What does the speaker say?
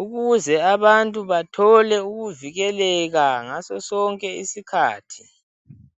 ukuze abantu bathole ukuvikeleka ngaso sonke isikhathi.